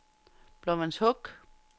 Blåvandshuk